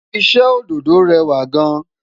iṣẹ ododo rẹwa gaan